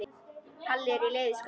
Palli er í leiðu skapi.